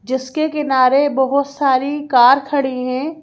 जिसके किनारे बहोत सारी कार खड़ी है।